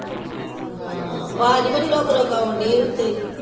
ਹਾਂ ਅਵਾਜ ਬੜੀ ਰੁਕ ਰੁਕ ਆਉ ਡਈ ਆ ਤੇਰੀ